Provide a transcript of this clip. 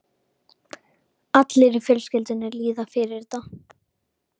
Allir í fjölskyldunni líða fyrir þetta.